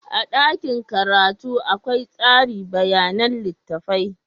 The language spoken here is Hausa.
A dakin karatu akwai tsari bayanan littattafai.